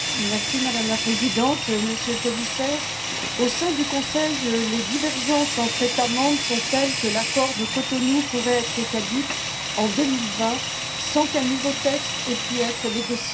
Madame la Présidente, Monsieur le Commissaire, au sein du Conseil, les divergences entre États membres sont telles que l'accord de Cotonou pourrait être caduc en 2020 sans qu'un nouveau texte ait pu être négocié.